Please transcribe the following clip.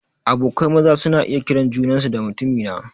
Abokai maza suna iya kiran junansu da "mutumina"